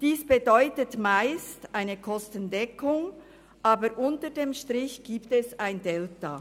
Dies bedeutet meist eine Kostendeckung, aber unter dem Strich gibt es ein Delta.